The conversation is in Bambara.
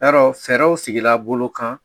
I y'a dɔn fɛɛrɛw sigira bolo kan